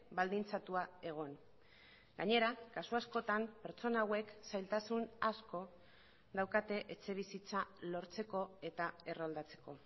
baldintzatua egon gainera kasu askotan pertsona hauek zailtasun asko daukate etxebizitza lortzeko eta erroldatzeko